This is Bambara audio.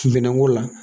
Minɛnko la